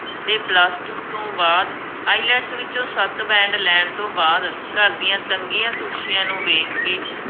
ਅਤੇ PLUS TWO ਤੋਂ ਬਆਦ IELTS ਵਿੱਚੋਂ ਸੱਤ band ਲੈਣ ਤੋਂ ਬਾਅਦ, ਘਰ ਦੀਆਂ ਤੰਗੀਆਂ ਤੋਸ਼ੀਆ ਨੂੰ ਵੇਖਕੇ,